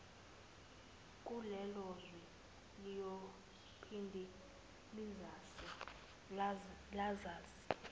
kulelozwe liyophinde lazise